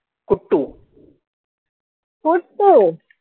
कुट्टू